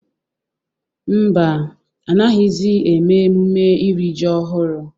Ḿbà, anaghịzi eme emume iri ji ọhụrụ.